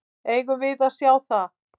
Eigum við að sjá það?